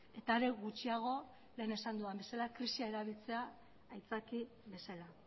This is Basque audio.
eta are gutxiago lehen esan dudan bezala krisia erabiltzea aitzaki bezala